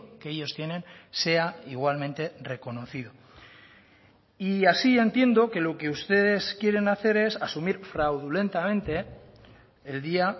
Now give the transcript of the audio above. que ellos tienen sea igualmente reconocido y así entiendo que lo que ustedes quieren hacer es asumir fraudulentamente el día